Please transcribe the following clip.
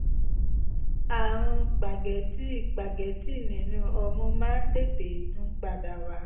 àrùn págẹ́tì págẹ́tì nínú ọmú máa ń tètè tún padà wá